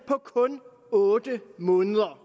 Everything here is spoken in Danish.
på kun otte måneder